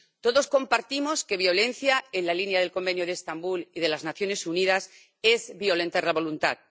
Todos compartimos que violencia, en la línea del Convenio de Estambul y de las Naciones Unidas, es violentar la voluntad.